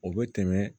O bɛ tɛmɛ